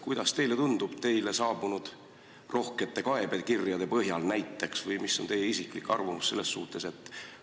Kuidas teile tundub teile saabunud rohkete kaebekirjade põhjal näiteks või mis on teie isiklik arvamus selles suhtes?